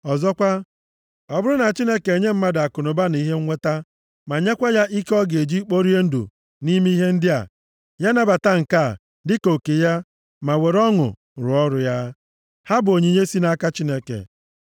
Ọzọkwa, ọ bụrụ na Chineke enye mmadụ akụnụba na ihe nweta, ma nyekwa ya ike ọ ga-eji kporie ndụ nʼime ihe ndị a, ya nabata nke a dị ka oke ya ma were ọṅụ rụọ ọrụ ya. Ha bụ onyinye si nʼaka Chineke.